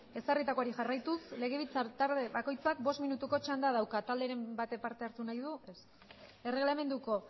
ezarritakoari jarraituz legebiltzar talde bakoitzak bost minutuko txanda dauka talderen batek parte hartu nahi du ez erregelamenduko